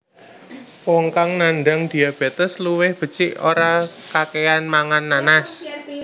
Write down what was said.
Wong kang nandang diabétes luwih becik ora kakéyan mangan nanas